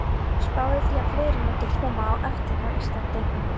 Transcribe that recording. Spáði því að fleiri mundu koma á eftir frá Íslandi.